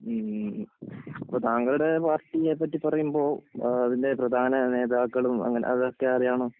അപ്പൊ താങ്കളുടെ പാർട്ടിയെ പറ്റി പറയുമ്പോൾ അതിന്‍റെ പ്രധാന നേതാക്കളും അതൊക്കെ അറിയണം